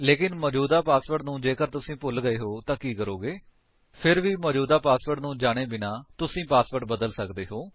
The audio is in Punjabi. ਲੇਕਿਨ ਮੌਜੂਦਾ ਪਾਸਵਰਡ ਨੂੰ ਜੇਕਰ ਤੁਸੀ ਭੁੱਲ ਗਏ ਹੋ ਤਾਂ ਕੀ ਕਰੋਗੇ 160 ਫਿਰ ਵੀ ਮੌਜੂਦਾ ਪਾਸਵਰਡ ਨੂੰ ਜਾਣੇ ਬਿਨਾਂ ਤੁਸੀ ਪਾਸਵਰਡ ਬਦਲ ਸਕਦੇ ਹੋ